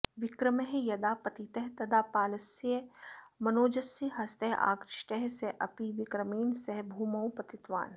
विक्रमः यदा पतितः तदा बालस्य मनोजस्य हस्तः आकृष्टः सः अपि विक्रमेण सह भूमौ पतितवान्